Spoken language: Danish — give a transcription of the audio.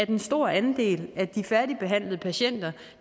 en stor andel af de færdigbehandlede patienter